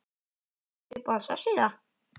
Uppáhalds vefsíða?